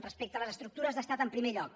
respecte a les estructures d’estat en primer lloc